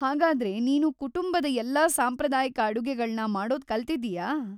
ಹಾಗಾದ್ರೆ, ನೀನು ಕುಟುಂಬದ ಎಲ್ಲಾ ಸಾಂಪ್ರದಾಯಿಕ ಅಡುಗೆಗಳ್ನ ಮಾಡೋದ್ ಕಲ್ತಿದ್ದೀಯಾ?